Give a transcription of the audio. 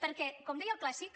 perquè com deia el clàssic